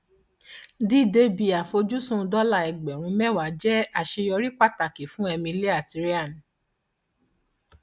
dídé ibi àfojúsùn dọlà ẹgbẹrún mẹwàá jẹ àṣeyọrí pàtàkì fún emily àti ryan